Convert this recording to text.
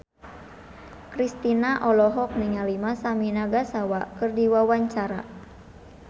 Kristina olohok ningali Masami Nagasawa keur diwawancara